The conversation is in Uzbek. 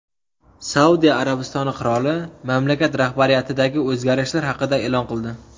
Saudiya Arabistoni qiroli mamlakat rahbariyatidagi o‘zgarishlar haqida e’lon qildi.